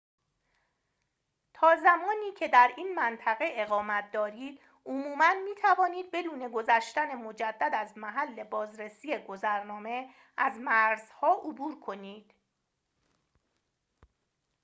تا زمانی که در این منطقه اقامت دارید عموماً می‌توانید بدون گذشتن مجدد از محل بازرسی گذرنامه از مرزها عبور کنید